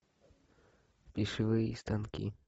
пищевые станки